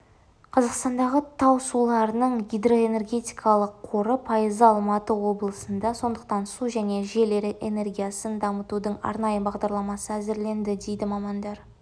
қазақстандағы тау суларының гидроэнергетикалық қорының пайызы алматы облысында сондықтан су және жел энергетикасын дамытудың арнайы бағдарламасы әзірленді дейді мамандар